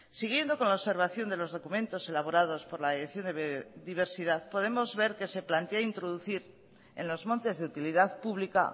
siguiendo con la observación de los documentos elaborados por la dirección de biodiversidad podemos ver que se plantea introducir en los montes de utilidad pública